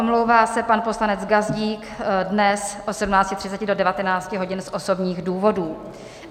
Omlouvá se pan poslanec Gazdík dnes od 17.30 do 19 hodin z osobních důvodů.